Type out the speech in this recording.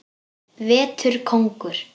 Vetur kóngur.